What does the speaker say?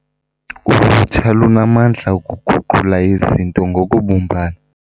Ulutsha lunamandla okuguqula izinto ngokubumbana.